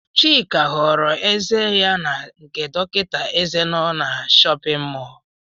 Chika họrọ eze ya n' nke dọkịta eze nọ n'shóppin mol.